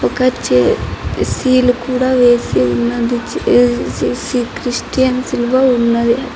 ఒక సీల్ కూడా వేసి ఉన్నది. క్రిస్టియన్ సిలువ ఉన్నది.